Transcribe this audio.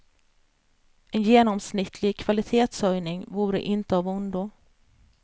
En genomsnittlig kvalitetshöjning vore inte av ondo.